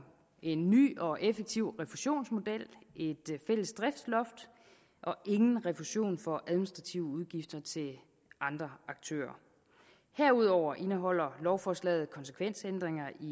en ny og effektiv refusionsmodel et fælles driftsloft og ingen refusion for administrative udgifter til andre aktører herudover indeholder lovforslaget konsekvensændringer i